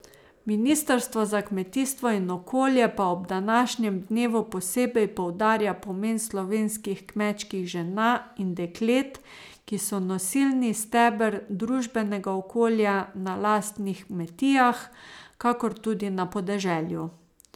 Ministrstvo za kmetijstvo in okolje pa ob današnjem dnevu posebej poudarja pomen slovenskih kmečkih žena in deklet, ki so nosilni steber družbenega okolja na lastnih kmetijah, kakor tudi na podeželju.